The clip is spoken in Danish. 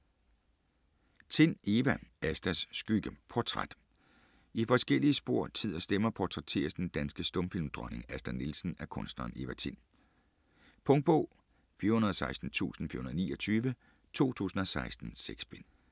Tind, Eva: Astas skygge: portræt I forskellige spor, tid og stemmer portrætteres den danske stumfilmdronning Asta Nielsen af kunstneren Eva Tind. Punktbog 416429 2016. 6 bind.